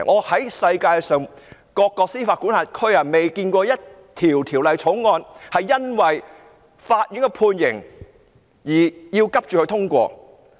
在世界各個司法管轄區，我從未見過一項條例草案是因為法院的判刑而急須通過。